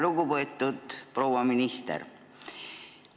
Lugupeetud proua minister!